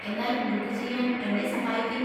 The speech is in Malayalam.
എന്നാൽ ബുക്ക് ചെയ്യാൻ എന്നെ സഹായിക്കിൻ.